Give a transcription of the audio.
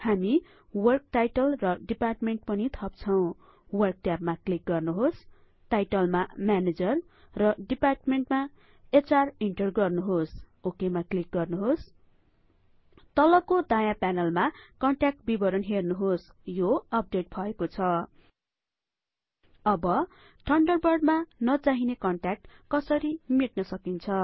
हामी work title र department पनि थप्छौं वर्क ट्याबमा क्लिक गर्नुहोस टाइटलमा म्यानेजर र डिपार्टमेन्टमा एच आर इन्टर गर्नुहोस ओकेमा क्लिक गर्नुहोस तलको दायाँ प्यानलमा कन्ट्याक्ट विवरण हेर्नुहोस यो अपडेट भएको छ अब ठन्डरबर्डमा नचाहिने कन्ट्याक्ट कसरी मेट्न सकिन्छ